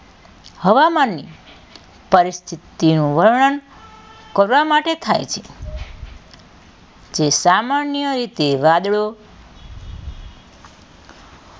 હવામાનની પરિસ્થિતિઓનું વર્ણન કરવા માટે થાય છે તે સામાન્ય એ તે વાદળો